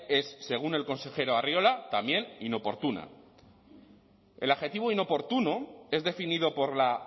es según el consejero arriola también inoportuna el adjetivo inoportuno es definido por la